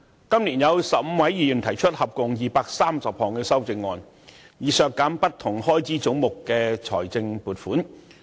今年有15位議員提出合共230項修正案，以削減不同開支總目的財政撥款。